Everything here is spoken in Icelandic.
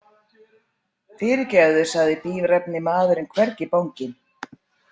Fyrirgefið, sagði bíræfni maðurinn hvergi banginn.